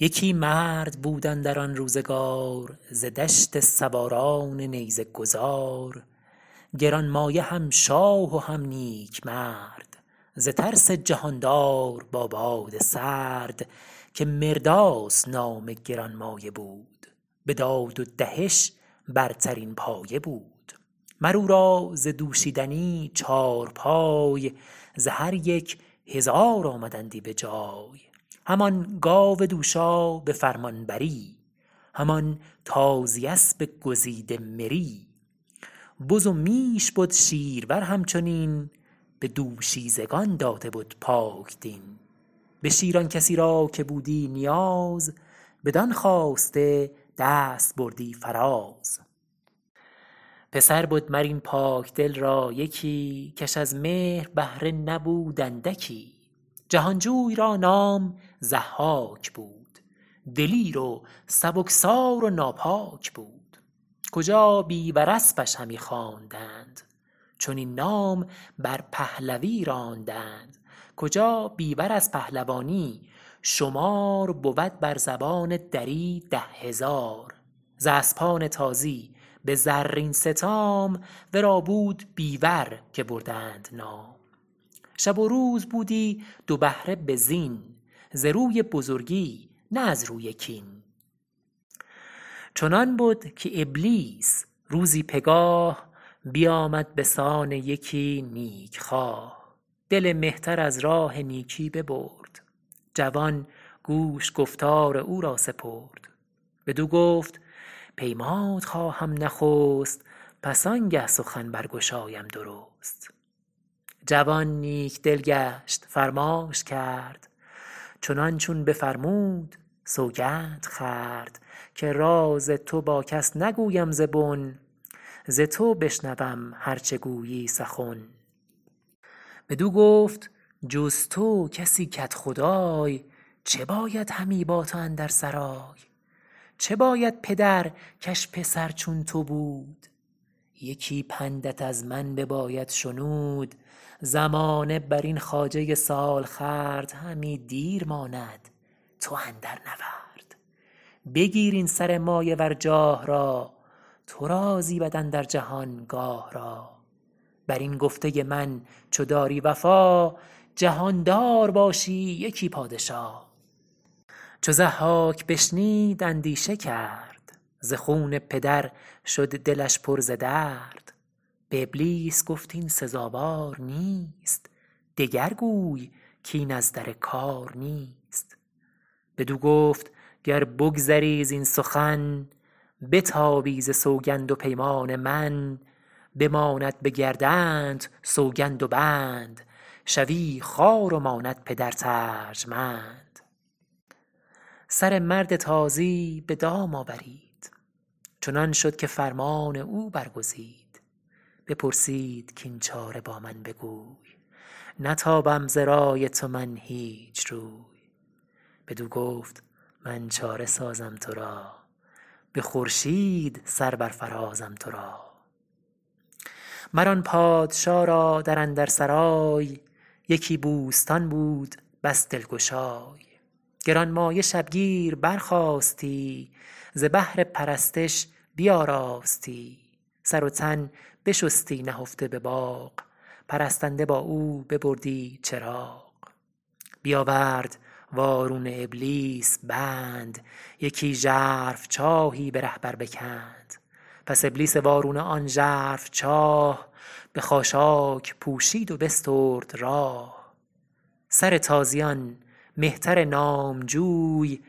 یکی مرد بود اندر آن روزگار ز دشت سواران نیزه گذار گرانمایه هم شاه و هم نیک مرد ز ترس جهاندار با باد سرد که مرداس نام گرانمایه بود به داد و دهش برترین پایه بود مر او را ز دوشیدنی چارپای ز هر یک هزار آمدندی به جای همان گاو دوشا به فرمانبری همان تازی اسب گزیده مری بز و میش بد شیرور همچنین به دوشیزگان داده بد پاکدین به شیر آن کسی را که بودی نیاز بدان خواسته دست بردی فراز پسر بد مر این پاکدل را یکی کش از مهر بهره نبود اندکی جهانجوی را نام ضحاک بود دلیر و سبکسار و ناپاک بود کجا بیور اسپش همی خواندند چنین نام بر پهلوی راندند کجا بیور از پهلوانی شمار بود بر زبان دری ده هزار ز اسپان تازی به زرین ستام ورا بود بیور که بردند نام شب و روز بودی دو بهره به زین ز روی بزرگی نه از روی کین چنان بد که ابلیس روزی پگاه بیامد به سان یکی نیک خواه دل مهتر از راه نیکی ببرد جوان گوش گفتار او را سپرد بدو گفت پیمانت خواهم نخست پس آنگه سخن برگشایم درست جوان نیک دل گشت فرمانش کرد چنان چون بفرمود سوگند خورد که راز تو با کس نگویم ز بن ز تو بشنوم هر چه گویی سخن بدو گفت جز تو کسی کدخدای چه باید همی با تو اندر سرای چه باید پدر کش پسر چون تو بود یکی پندت از من بباید شنود زمانه برین خواجه سالخورد همی دیر ماند تو اندر نورد بگیر این سر مایه ور جاه او تو را زیبد اندر جهان گاه او بر این گفته من چو داری وفا جهاندار باشی یکی پادشا چو ضحاک بشنید اندیشه کرد ز خون پدر شد دلش پر ز درد به ابلیس گفت این سزاوار نیست دگر گوی کاین از در کار نیست بدو گفت گر بگذری زین سخن بتابی ز سوگند و پیمان من بماند به گردنت سوگند و بند شوی خوار و ماند پدرت ارجمند سر مرد تازی به دام آورید چنان شد که فرمان او برگزید بپرسید کاین چاره با من بگوی نتابم ز رای تو من هیچ روی بدو گفت من چاره سازم ترا به خورشید سر برفرازم ترا مر آن پادشا را در اندر سرای یکی بوستان بود بس دلگشای گرانمایه شبگیر برخاستی ز بهر پرستش بیاراستی سر و تن بشستی نهفته به باغ پرستنده با او ببردی چراغ بیاورد وارونه ابلیس بند یکی ژرف چاهی به ره بر بکند پس ابلیس وارونه آن ژرف چاه به خاشاک پوشید و بسترد راه سر تازیان مهتر نامجوی